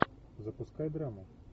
запускай драму